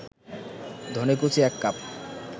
ধনেকুচি ১ cup